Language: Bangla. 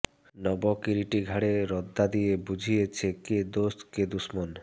নব কিরীটি ঘাড়ে রদ্দা দিয়ে বুঝিয়েছে কে দোস্ত কে দুশমন